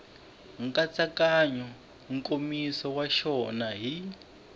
nkatsakanyo nkomiso wa xona hi